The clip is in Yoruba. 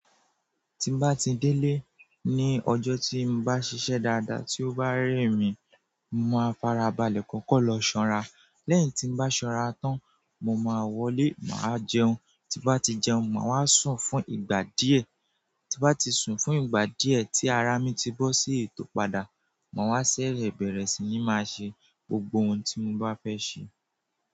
Tí bá ti délé ní ọjọ́ tí n bá ṣiṣẹ́ dáadáa tí ó bá rẹ́ mi, mo máa farabalẹ̀ kọ́kọ́ lọ sànrá. Lẹ́yìn tí n bá sànrá tán, mo máa wọlé, màá jẹun. Ti bá ti jẹun, màá wá sùn fún ìgbà díẹ̀. Ti bá ti sùn fún ìgbà díẹ̀ tí árá mi ti bọ́ sí ètò padà, màá ṣere bẹ̀rẹ̀ sí ní máa ṣe gbògbò òhùn tí mò bá fẹ́ ṣemé.